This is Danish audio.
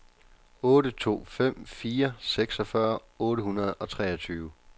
otte to fem fire seksogfyrre otte hundrede og treogtyve